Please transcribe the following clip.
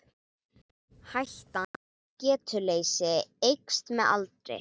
Hættan á getuleysi eykst með aldri.